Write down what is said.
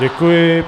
Děkuji.